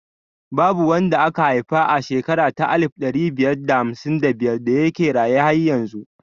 Babu wanda aka haifa a shekara ta alif ɗari biyar da hamsin da biyar da yake raye har yanzu